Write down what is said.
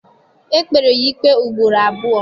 E kpere ya ikpe ugboro abụọ.